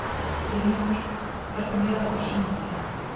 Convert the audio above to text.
Brynjólfur, ferð þú með okkur á sunnudaginn?